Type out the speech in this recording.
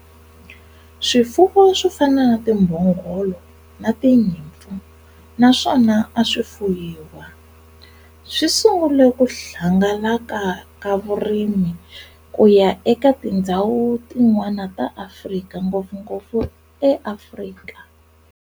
Swifuwo swofana na timbhongolo na tinyimpfu na swona aswi fuyiwa, swisungule ku hangalaka ka vurimi kuya eka tindzhawu tin'wana ta Afrika, ngopfungopfu Afrika